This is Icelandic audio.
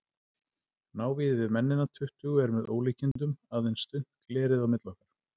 Návígið við mennina tuttugu er með ólíkindum, aðeins þunnt glerið á milli okkar.